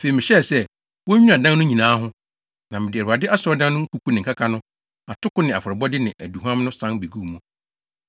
Afei mehyɛe sɛ, wonnwira adan no nyinaa ho, na mede Awurade Asɔredan no nkuku ne nkaka no, atoko afɔrebɔde ne aduhuam no san beguu mu.